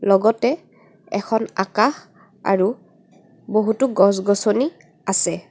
লগতে এখন আকাশ আৰু বহুতো গছ গছনী ও আছে.